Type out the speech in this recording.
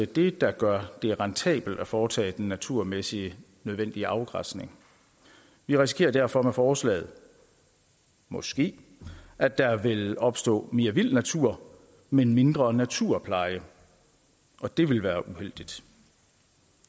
det der gør det rentabelt at foretage den naturmæssige nødvendige afgræsning vi risikerer derfor med forslaget måske at der vil opstå mere vild natur men mindre naturpleje og det ville være uheldigt